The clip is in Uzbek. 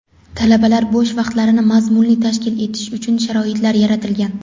talabalar bo‘sh vaqtlarini mazmunli tashkil etishi uchun sharoitlar yaratilgan.